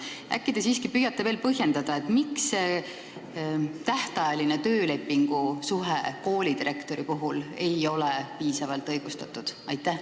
Äkki te siiski püüate veel põhjendada, miks ei ole tähtajaline tööleping koolidirektori puhul piisavalt õigustatud?